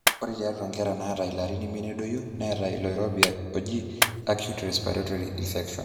ore tiatwa nkera naata ilarin imiet nedoyio neeta ilo oirobi oji acute respiratory infection